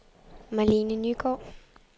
Marlene Nygaard